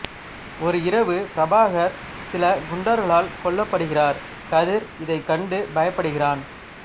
ஒரு இரவு பிரபாகர் சில குண்டர்களால் கொல்லப்படுகிறார் கதிர் இதை கண்டு பயப்படுகிறான்